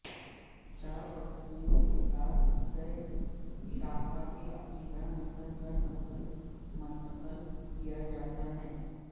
چار پتیوں کے ساتھ سہ شاخہ کے عقیدہ نسل در نسل منتقل کیا جاتا ہے